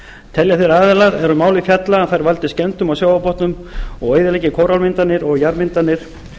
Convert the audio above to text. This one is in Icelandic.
telja þeir aðilar er um málið fjalla að þær valdi skemmdum á sjávarbotnum og eyðileggi kóralmyndanir og jarðmyndanir